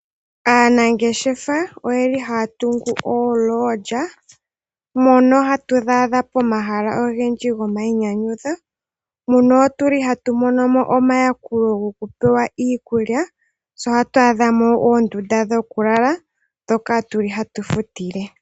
Aanangeshefa oye li haya tungu ooLodge mono hatu dhi adha pomahala ogendji gomainyanyudho . Muno otuli hatu monomo omayakulo gokupewa iikulya, tse ohatu adhamo oondunda dhokulala ndhoka tuli hatu futile.